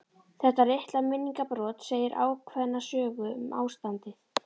Þetta litla minningarbrot segir ákveðna sögu um ástandið.